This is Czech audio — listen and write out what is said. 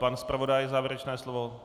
Pan zpravodaj závěrečné slovo?